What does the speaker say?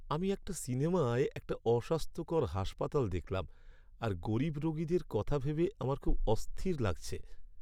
আমি একটা সিনেমায় একটা অস্বাস্থ্যকর হাসপাতাল দেখলাম আর গরীব রোগীদের কথা ভেবে আমার খুব অস্থির লাগছে।